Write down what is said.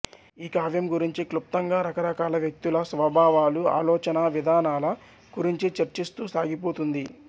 ఈ కావ్యం గురించి క్లుప్తం గా రకరకాల వ్యక్తుల స్వభావాలు ఆలొచనా విధానాల గురించి చర్చిస్తూ సాగిపొతుంది